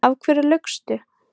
Af hverju laugstu?